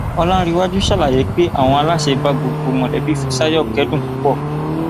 ọlàǹrẹwájú ṣàlàyé pé àwọn aláṣẹ bá gbogbo mọlẹbí fíṣàyò kẹdùn púpọ